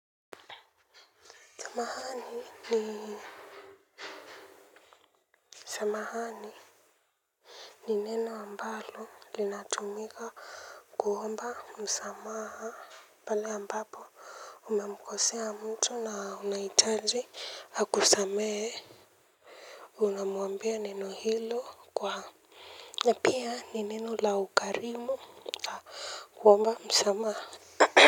Samahani ni samahani ni neno ambalo linatumika kuomba msamaha pale ambapo umemkosea mtu na unahitaji akusamehe. Unamwambia neno hilo kwa na pia ni neno la ukarimu kuomba msamaha.